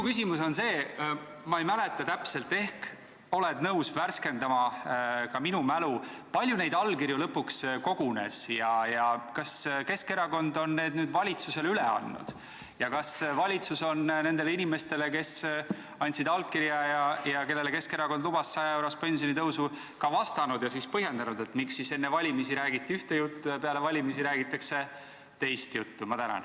Kuna ma ei mäleta täpselt, siis ehk oled nõus värskendama ka minu mälu: kui palju neid allkirju lõpuks kogunes, kas Keskerakond on need nüüd valitsusele üle andnud ja kas valitsus on nendele inimestele, kes andsid allkirja ja kellele Keskerakond lubas 100-eurost pensionitõusu, ka vastanud ja põhjendanud, miks enne valimisi räägiti ühte juttu ja peale valimisi räägitakse teist juttu?